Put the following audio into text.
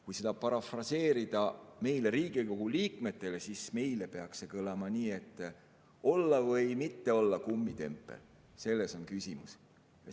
Kui seda parafraseerida, siis, meil, Riigikogu liikmetel, peaks see kõlama nii, et olla või mitte olla kummitempel, selles on küsimus.